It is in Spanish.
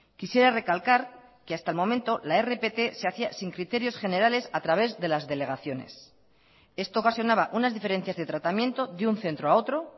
quisiera recalcar que hasta el momento la rpt se hacía sin criterios generales a través de las delegaciones esto ocasionaba unas diferencias de tratamiento de un centro a otro